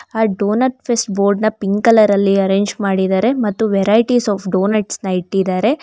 ಆ donut fest board ನ pink colour ಅಲ್ಲಿ ಅರೇಂಜ್ ಮಾಡಿದರೆ ಮತ್ತು ವೆರೈಟಿಸ್ ಆಫ್ ಡೋನಟ್ಸ್ ನ ಇಟ್ಟಿದಾರೆ.